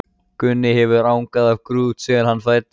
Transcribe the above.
Gunni hefur angað af grút síðan hann fæddist.